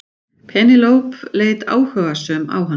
Penélope leit áhugasöm á hann.